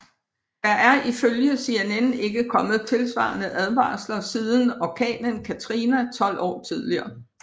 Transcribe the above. Der er ifølge CNN ikke kommet tilsvarende advarsler siden Orkanen Katrina 12 år tidligere